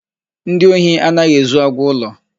Ndị ohi anaghị ezu agwụ ụlọ.